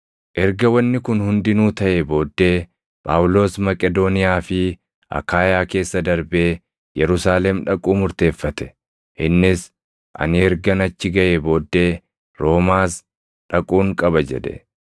Erga wanni kun hundinuu taʼee booddee Phaawulos Maqedooniyaa fi Akaayaa keessa darbee Yerusaalem dhaquu murteeffate; innis, “Ani ergan achi gaʼee booddee Roomaas dhaquun qaba” jedhe.